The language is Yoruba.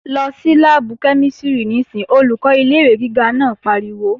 Lọ sí láàbù kẹ́mísìrì níìsín! Olùkọ́ ilé-ìwé gíga náà pariwo